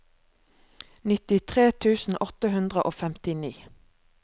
nittitre tusen åtte hundre og femtini